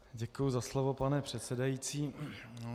Děkuji za slovo, pane předsedající.